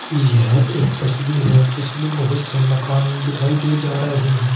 यह एक तस्वीर है जिसमें बहुत से मकान दिखाई दिए जा रहे हैं।